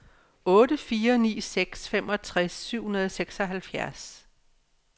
otte fire ni seks femogtres syv hundrede og seksoghalvfjerds